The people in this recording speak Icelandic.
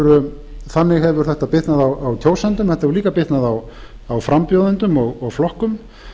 kemur þannig hefur þetta bitnað á kjósendum en þetta hefur líka bitnað á frambjóðendum og flokkum